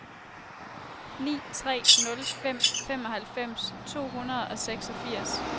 ni tre nul fem femoghalvfems to hundrede og seksogfirs